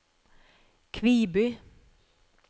Kviby